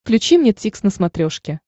включи мне дтикс на смотрешке